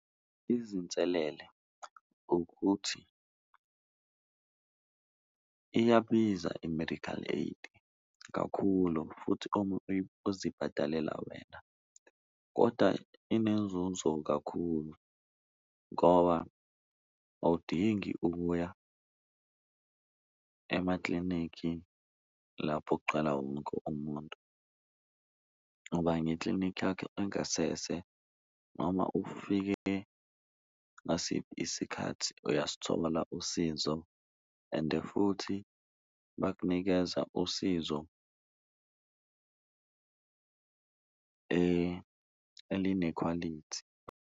Izinselele ukuthi iyabiza i-medical aid kakhulu futhi uma uzibhadalela wena, koda inenzunzo kakhulu ngoba awudingi ukuya emaklinikhi lapho kugcwala wonke umuntu. Uba ngeklinikhi yakho engasese noma ufike ngasiphi isikhathi uyasithola usizo ende futhi bakunikeza usizo elinekhwalithi.